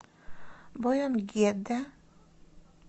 бойонггеде